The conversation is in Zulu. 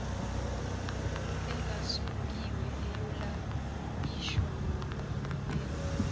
engasongiwe eyolayishwa ngokubekwa